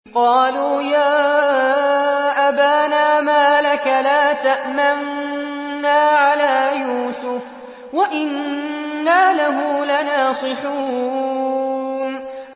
قَالُوا يَا أَبَانَا مَا لَكَ لَا تَأْمَنَّا عَلَىٰ يُوسُفَ وَإِنَّا لَهُ لَنَاصِحُونَ